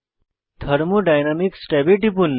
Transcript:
thermodynamics ট্যাবে টিপুন